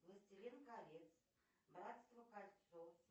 властелин колец братство кольца